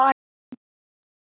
Við höldum áfram.